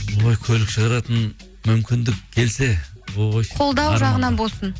ой көлік шығаратын мүмкіндік келсе ой қолдау жағынан болсын